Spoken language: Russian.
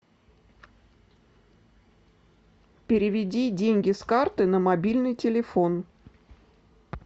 переведи деньги с карты на мобильный телефон